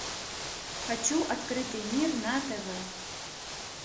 хочу открытый мир на тв